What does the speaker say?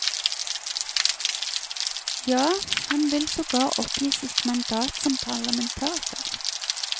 Ja, han vil sogar oppgi sitt mandat som parlamentariker.